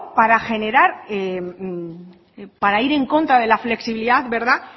para ir en contra de la flexibilidad